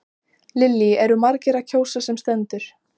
Lillý, eru margir að kjósa sem stendur?